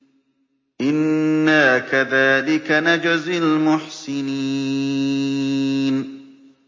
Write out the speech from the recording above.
إِنَّا كَذَٰلِكَ نَجْزِي الْمُحْسِنِينَ